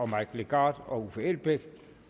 mike legarth og uffe elbæk